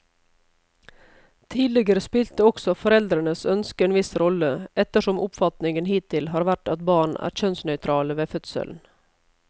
Tidligere spilte også foreldrenes ønske en viss rolle, ettersom oppfatningen hittil har vært at barn er kjønnsnøytrale ved fødselen.